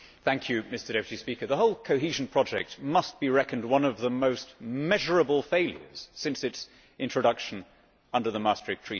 Mr President, the whole cohesion project must be reckoned one of the most measurable failures since its introduction under the Maastricht Treaty.